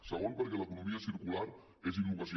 segon perquè l’economia circular és innovació